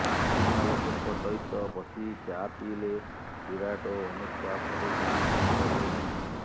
ଅଚିହ୍ନା ଲୋକଙ୍କ ସହିତ ବସି ଚା ପିଇଲେ ବିରାଟ ଓ ଅନୁଷ୍କା ପଡୋଶୀ ବି ଜାଣିପାରିଲେନି